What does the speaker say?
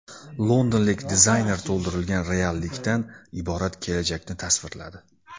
Londonlik dizayner to‘ldirilgan reallikdan iborat kelajakni tasvirladi .